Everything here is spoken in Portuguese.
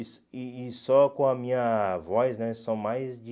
E só e e só com a minha voz né, são mais de...